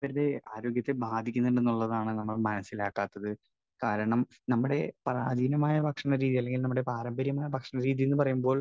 Speaker 1 ആരോഗ്യത്തെ ബാധിക്കുന്നുണ്ട് എന്നുള്ളതാണ് നമ്മൾ മനസ്സിലാക്കാത്തത്. കാരണം നമ്മുടെ പ്രാചീനമായ ഭക്ഷരീതി അല്ലെങ്കിൽ നമ്മുടെ പാരമ്പര്യമായ ഭക്ഷണരീതി എന്നു പറയുമ്പോൾ